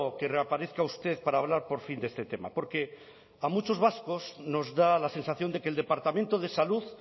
que reaparezca usted para hablar por fin de este tema porque a muchos vascos nos da la sensación de que el departamento de salud